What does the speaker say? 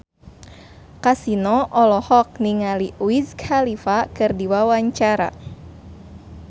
Kasino olohok ningali Wiz Khalifa keur diwawancara